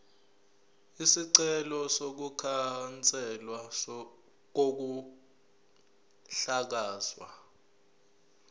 isicelo sokukhanselwa kokuhlakazwa